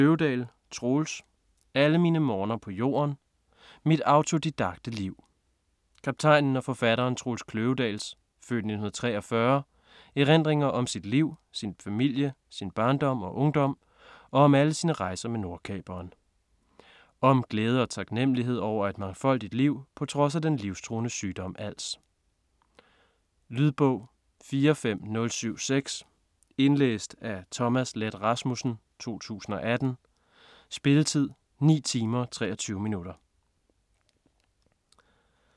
Kløvedal, Troels: Alle mine morgener på jorden: mit autodidakte liv Kaptajnen og forfatteren Troels Kløvedals (f. 1943) erindringer om sit liv, sin familie, sin barndom og ungdom og om alle sine rejser med Nordkaperen. Om glæde og taknemmelighed over et mangfoldigt liv på trods af den livstruende sygdom als. Lydbog 45076 Indlæst af Thomas Leth Rasmussen, 2018. Spilletid: 9 timer, 23 minutter.